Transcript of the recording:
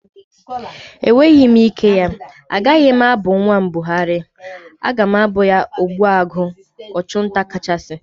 Enweghị m ike ya. Agaghị m abụ nwa m Buhari, aga m abụ ya Ogbuagu (Ọchụ nta kachasị)